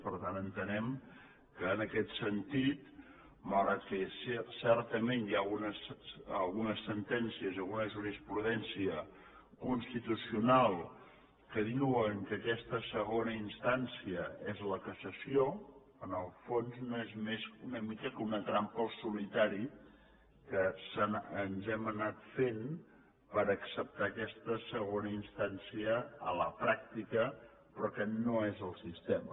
per tant entenem que en aquest sentit malgrat que certament hi ha algunes sentències i alguna jurisprudència constitucional que diuen que aquesta segona instància és la cassació en el fons no és més que una mica una trampa al solitari que ens hem anat fent per acceptar aquesta segona instància a la pràctica però que no és el sistema